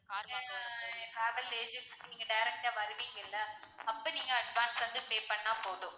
காலைல travel agency க்கு நீங்க direct டா வருவீங்கல்ல அப்போ நீங்க advance வந்து pay பண்ணா போதும்.